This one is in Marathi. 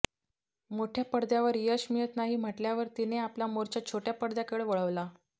मोठ्या पडद्यावर यश मिळत नाही म्हटल्यावर तिने आपला मोर्चा छोट्या पडद्याकडे वळवला